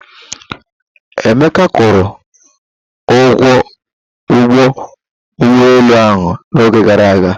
Emeka kwuru ụgwọ ụgbọ ụgbọelu ahụ n'ọnwa gara aga.